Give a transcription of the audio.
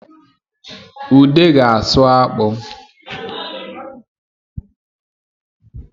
Ude ga-asụ akpụ